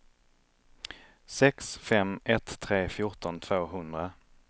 sex fem ett tre fjorton tvåhundra